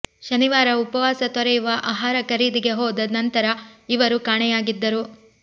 ಶನಿವಾರ ಉಪವಾಸ ತೊರೆಯುವ ಆಹಾರ ಖರೀದಿಗೆ ಹೋದ ನಂತರ ಇವರು ಕಾಣೆಯಾಗಿದ್ದರು